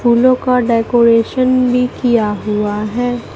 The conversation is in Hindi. फूलों का डेकोरेशन भी किया हुआ है।